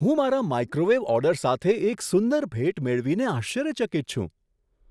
હું મારા microwave order સાથે એક સુંદર ભેટ મેળવીને આશ્ચર્યચકિત છું.